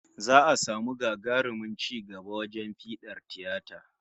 Za'a samu gagarumin ci gaba wajen fiɗar tiyata